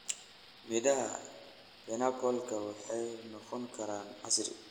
Midhaha pineappla waxay noqon karaan casiir.